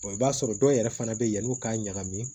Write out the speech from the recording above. i b'a sɔrɔ dɔw yɛrɛ fana bɛ yanni u k'a ɲagami